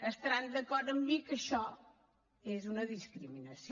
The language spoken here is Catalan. estaran d’acord amb mi que això és una discriminació